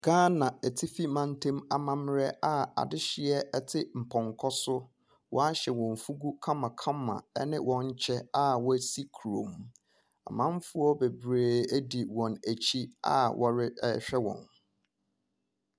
Gaana atifi mantɛm amamerɛ a adehyeɛ ɛte mpɔnkɔ so waahyɛ wɔn fugu kama kama ɛne wɔn kyɛ a wasi kuro mu. Amanfoɔ bebree edi wɔn akyi a wɔre ɛɛhwɛ wɔn.